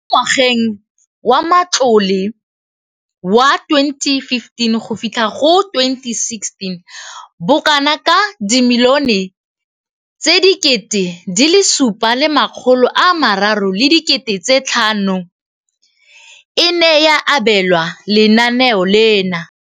Mo ngwageng wa matlole wa 2015,16, bokanaka R5 703 bilione e ne ya abelwa lenaane leno.